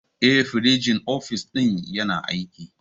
Eh, firinjin ofis ɗin yana aiki.